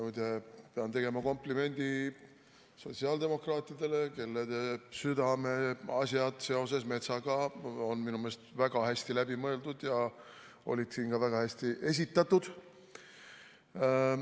Muide, pean tegema komplimendi sotsiaaldemokraatidele, kelle südameasjad seoses metsaga on minu meelest väga hästi läbi mõeldud ja olid siin ka väga hästi esitatud.